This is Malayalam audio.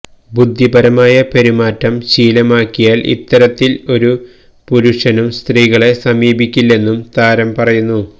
ബുദ്ധിപരമായ പെരുമാറ്റം ശീലമാക്കിയാല് ഇത്തരത്തില് ഒരു പുരുഷനും സ്ത്രികളെ സമീപിക്കില്ലെന്നും താരം പറയുന്നു